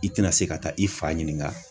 I tɛna se ka taa i fa ɲininka.